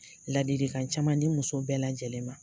Ladilikan caman di muso bɛɛ lajɛlen ma